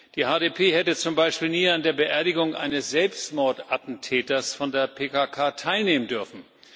Die HDP hätte zum Beispiel nie an der Beerdigung eines Selbstmordattentäters von der PKK teilnehmen dürfen.